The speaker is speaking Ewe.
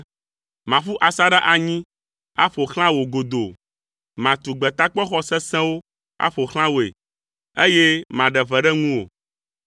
Maƒu asaɖa anyi aƒo xlã wò godoo. Matu gbetakpɔxɔ sesẽwo aƒo xlã wòe, eye maɖe ʋe ɖe ŋuwò.